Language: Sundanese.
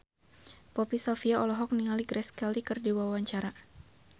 Poppy Sovia olohok ningali Grace Kelly keur diwawancara